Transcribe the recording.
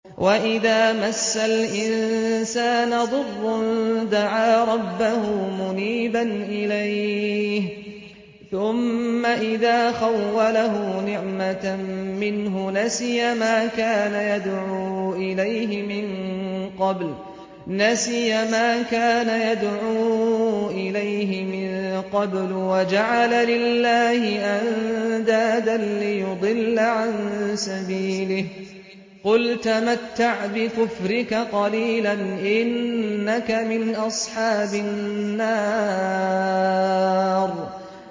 ۞ وَإِذَا مَسَّ الْإِنسَانَ ضُرٌّ دَعَا رَبَّهُ مُنِيبًا إِلَيْهِ ثُمَّ إِذَا خَوَّلَهُ نِعْمَةً مِّنْهُ نَسِيَ مَا كَانَ يَدْعُو إِلَيْهِ مِن قَبْلُ وَجَعَلَ لِلَّهِ أَندَادًا لِّيُضِلَّ عَن سَبِيلِهِ ۚ قُلْ تَمَتَّعْ بِكُفْرِكَ قَلِيلًا ۖ إِنَّكَ مِنْ أَصْحَابِ النَّارِ